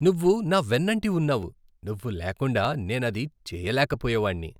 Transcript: నువ్వు నా వెన్నంటి ఉన్నావు! నువ్వు లేకుండా నేనది చేయలేకపోయేవాడిని.